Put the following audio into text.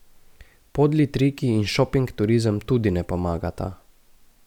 Podli triki in šoping turizem tudi ne pomagata.